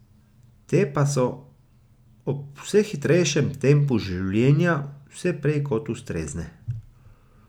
Te pa so ob vse hitrejšem tempu življenja vse prej kot ustrezne.